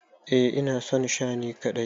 Eh ina son Sha ni kadai.